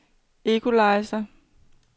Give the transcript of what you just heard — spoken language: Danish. equalizer